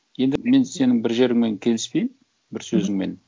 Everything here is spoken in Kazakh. енді мен сенің бір жеріңмен келіспеймін бір сөзіңмен